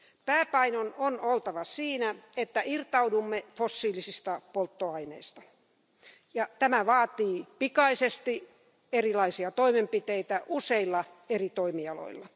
Pääpainon on oltava siinä, että irtaudumme fossiilisista polttoaineista ja tämä edellyttää pikaisesti erilaisia toimenpiteitä useilla eri toimialoilla.